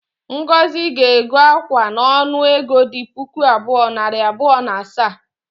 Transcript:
Ngozi ga-ego akwa a n’onu ego dị puku abụọ, nari abụọ na asaa